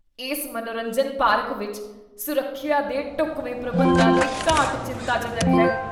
ਇਸ ਮਨੋਰੰਜਨ ਪਾਰਕ ਵਿੱਚ ਸੁਰੱਖਿਆ ਦੇ ਢੁੱਕਵੇਂ ਪ੍ਰਬੰਧਾਂ ਦੀ ਘਾਟ ਚਿੰਤਾਜਨਕ ਹੈ।